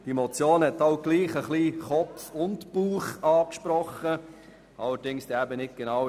Doch diese Motion hat trotzdem Kopf und Bauch angesprochen, allerdings in unterschiedliche Richtungen.